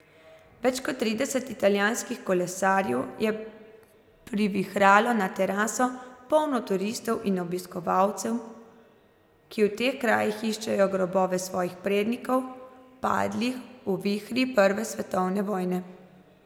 Več kot trideset italijanskih kolesarjev je privihralo na teraso, polno turistov in obiskovalcev, ki v teh krajih iščejo grobove svojih prednikov, padlih v vihri prve svetovne vojne.